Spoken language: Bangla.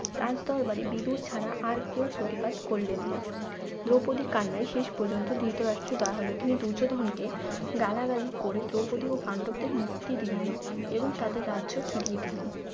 রাজদরবারে বিদূর ছাড়া আর কেউ প্রতিবাদ করলেন না দ্রৌপদীর কান্নায় শেষ পর্যন্ত ধৃতরাষ্ট্র দওয়া হল তিনি দুর্যোধনকে গালাগালি করে দ্রৌপদী ও পাণ্ডবদের মুক্তি দিলেন এবং তাদের রাজ্য ফিরিয়ে দিলেন